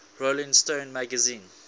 rolling stone magazine